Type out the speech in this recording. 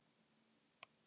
Svo væri hins vegar ekki